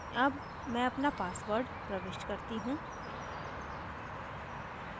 अब मैं अपना password प्रविष्ट करती हूँ